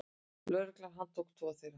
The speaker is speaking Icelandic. Lögregla handtók tvo þeirra.